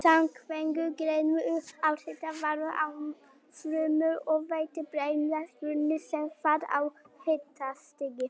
Samkvæmt grein um áhrif varma á frumur og vefi breytast grunnefnaskipti sem fall af hitastigi.